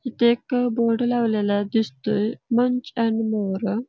इथ एक बोर्ड लावलेला दिसतोय मंच अँड मोर --